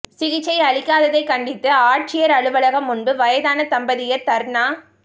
சிகிச்சை அளிக்காததை கண்டித்து ஆட்சியர் அலுவலகம் முன்பு வயதான தம்பதியர் தர்ணா